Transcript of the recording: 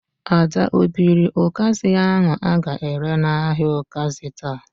Ada o biri ụkazi ahu a ga-ere n"ahia ukazi taa?